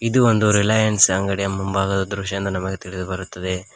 ಇದು ಒಂದು ರಿಲಯನ್ಸ್ ಅಂಗಡಿಯ ಮುಂಭಾಗದ ದೃಶ್ಯ ಎಂದು ನಮಗೆ ತಿಳಿದು ಬರುತ್ತದೆ.